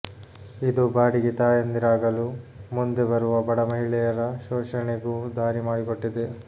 ಇದು ಬಾಡಿಗೆ ತಾಯಂದಿರಾಗಲು ಮುಂದೆ ಬರುವ ಬಡ ಮಹಿಳೆಯರ ಶೋಷಣೆಗೂ ದಾರಿ ಮಾಡಿಕೊಟ್ಟಿದೆ